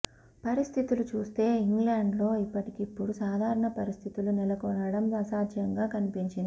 పరిస్థితులు చూస్తే ఇంగ్లండ్లో ఇప్పటికిప్పుడూ సాధారణ పరిస్థితులు నెలకొనడం అసాధ్యంగా కనిపించింది